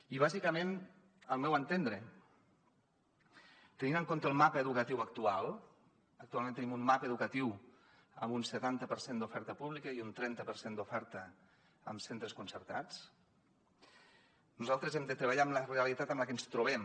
i bàsicament al meu entendre tenint en compte el mapa educatiu actual actualment tenim un mapa educatiu amb un setanta per cent d’oferta pública i un trenta per cent d’oferta en centres concertats nosaltres hem de treballar amb la realitat amb la que ens trobem